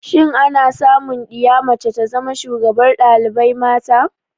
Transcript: Shin ana samu diya mace ta zama shugabar dalibai mata?